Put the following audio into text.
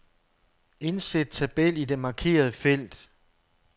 Indsæt tabel i det markerede felt.